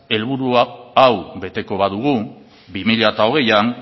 helburu hau beteko badugu bi mila hogeian